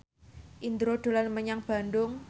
Indro dolan menyang Bandung